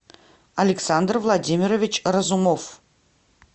александр владимирович разумов